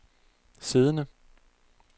siddende